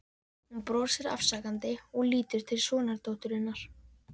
Hún brosir afsakandi og lítur til sonardótturinnar.